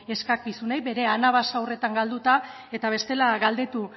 eskakizunei bere anabasak galduta eta bestela galdetu